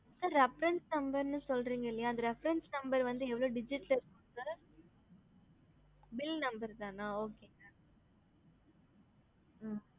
bill numder தா refereness சொல்லுவங்க